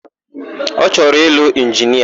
Ọ chọrọ ịlụ inginia?